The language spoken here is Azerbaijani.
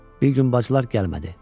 Bir gün bacılar gəlmədi.